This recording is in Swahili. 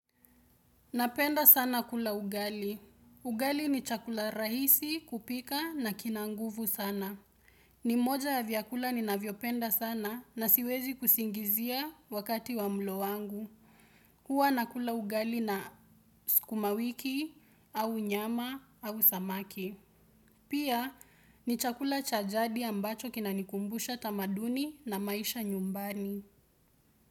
Napenda sana kula ugali. Ugali ni chakula rahisi kupika na kinanguvu sana. Nimoja ya vyakula ni naviopenda sana na siwezi kusingizia wakati wa mlo wangu. Hua nakula ugali na sukumawiki au nyama au samaki. Pia ni chakula chajadi ambacho kinanikumbusha tamaduni na maisha nyumbani.